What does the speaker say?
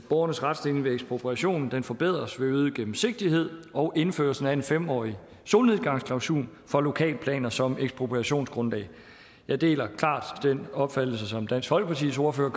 borgernes retsstilling ved ekspropriation forbedres ved øget gennemsigtighed og indførelsen af en fem årig solnedgangsklausul for lokalplaner som ekspropriationsgrundlag jeg deler klart den opfattelse som dansk folkepartis ordfører